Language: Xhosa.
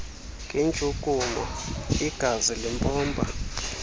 ngentshukumo igazi limpompa